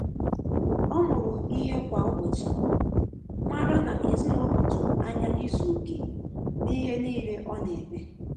Ọ́ mụrụ ìhè kwá ụ́bọ̀chị̀, mara nà èzínụ́lọ́ tụ́rụ́ ányá ízu ókè n’íhé níílé ọ nà-émé.